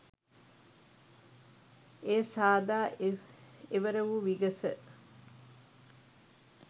එය සාදා එවර වු විගස